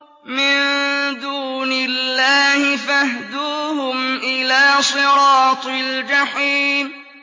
مِن دُونِ اللَّهِ فَاهْدُوهُمْ إِلَىٰ صِرَاطِ الْجَحِيمِ